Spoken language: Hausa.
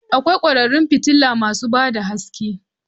Akwai kwararan fitila masu ba da haske